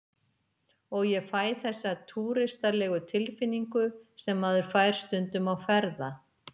Og ég fæ þessa túristalegu tilfinningu sem maður fær stundum á ferða